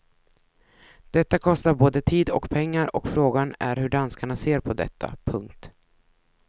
Detta kostar både tid och pengar och frågan är hur danskarna ser på detta. punkt